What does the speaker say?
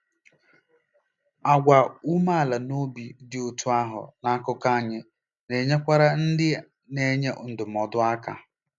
Àgwà umeala n'obi dị otú ahụ n'akụkụ anyị na-enyekwara ndị na-enye ndụmọdụ aka.